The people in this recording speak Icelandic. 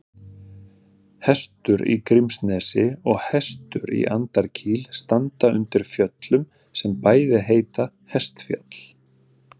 Hestur í Grímsnesi og Hestur í Andakíl standa undir fjöllum sem bæði heita Hestfjall.